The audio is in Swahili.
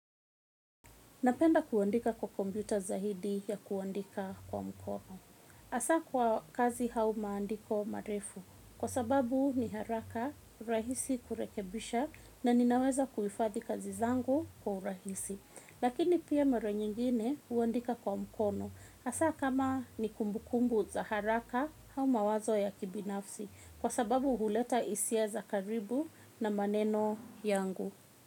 Napenda kuandika kwa komyuta zaidi ya kuandika kwa mkono. Hasa kwa kazi au maandiko marefu. Kwa sababu ni haraka, rahisi kurekebisha na ninaweza kuhifadhi kazi zangu kwa urahisi. Lakini pia mara nyingine huandika kwa mkono. Hasa kama ni kumbukumbu za haraka au mawazo ya kibinafsi. Kwa sababu huleta hisia za karibu na maneno yangu.